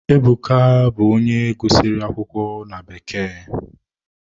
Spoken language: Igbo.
Ebuka bụ onye gụsịrị akwụkwọ na bekee.